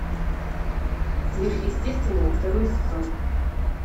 сверхъестественное второй сезон